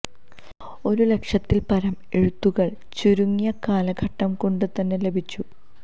ഒരു ലക്ഷത്തില് പരം എഴുത്തുകള് ചുരുങ്ങിയ കാലഘട്ടം കൊണ്ട് തന്നെ ലഭിച്ചു